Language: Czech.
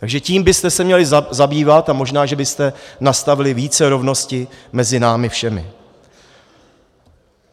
Takže tím byste se měli zabývat a možná že byste nastavili více rovnosti mezi námi všemi.